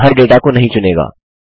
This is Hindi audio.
यह हर डेटा को नहीं चुनेगा